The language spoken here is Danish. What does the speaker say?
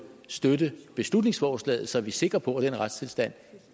støtte beslutningsforslaget så vi er sikre på at den retstilstand